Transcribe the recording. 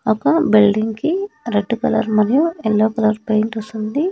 ఒక బిల్డింగ్ కి red colour మరియు యెల్లో కలర్ పెయింట్ ఏసుంది .